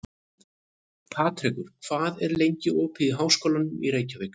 Patrekur, hvað er lengi opið í Háskólanum í Reykjavík?